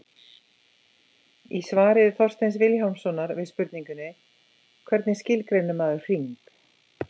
Í svari Þorsteins Vilhjálmssonar við spurningunni Hvernig skilgreinir maður hring?